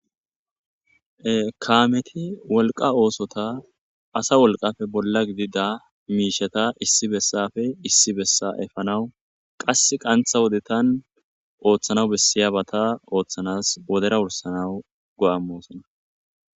Kaameti wolqa oosota asa wolqafe bolla gidida miisheta issi bessafe issi bessa efanawu qass qantha wodetan ooththanaw bessiyabata ooththanas wodera wursanawu go'ammosona